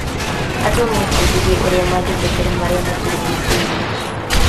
Andũ mebundithirie ũrĩa mangĩtetera marĩa matũrigicĩirie.